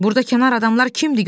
Burda kənar adamlar kimdir?